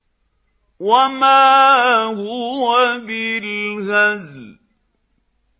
وَمَا هُوَ بِالْهَزْلِ